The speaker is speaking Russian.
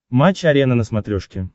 матч арена на смотрешке